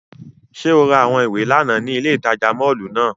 Ṣe o ra awọn iwe làná ni ile itaja mọllu náa?